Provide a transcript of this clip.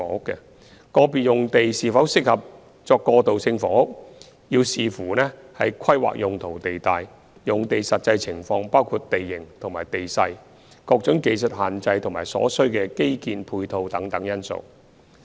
個別用地是否適合作過渡性房屋，須視乎規劃用途地帶、用地實際情況包括地形和地勢、各種技術限制或所需基建配套等因素。